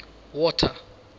water